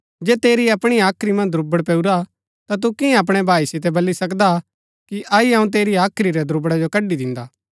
जे तेरी अपणी हाख्री मन्ज दुब्रड़ पैऊरा ता तु किआं अपणै भाई सितै बली सकदा कि अई अऊँ तेरी हाख्री रै दुब्रड़ा कड़ी दिन्दा